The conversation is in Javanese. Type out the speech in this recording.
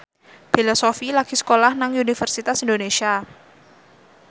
Bella Shofie lagi sekolah nang Universitas Indonesia